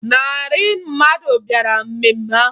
Ịnarị mmadụ bịara mmemme ahụ